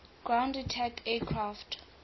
ground attack aircraft